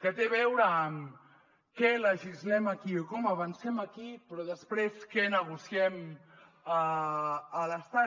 que té a veure amb què legislem aquí o com avancem aquí però després què negociem a l’estat